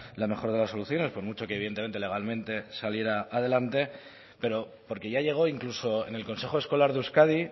la mejor de las soluciones por mucho que evidentemente legalmente saliera adelante pero porque ya llegó incluso en el consejo escolar de euskadi